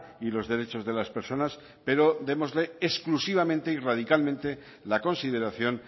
y los derechos de las personas pero démosle exclusivamente y radicalmente la consideración